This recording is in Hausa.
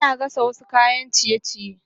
Ana gasa wasu kayan ciye-ciye